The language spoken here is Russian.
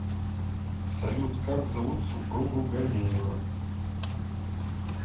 салют как зовут супругу ганеева